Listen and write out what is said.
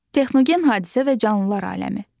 Texnogen hadisə və canlılar aləmi.